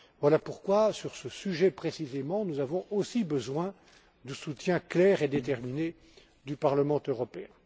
Voilà pourquoi, sur ce sujet précisément, nous avons également besoin d'un soutien clair et déterminé du Parlement européen.